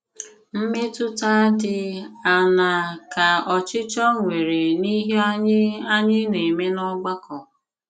Mmètùtà dị àṅàà kà òchìchọ̀ nwere n'ìhé ànyị̀ ànyị̀ na-eme n'ọ̀gbàkọ?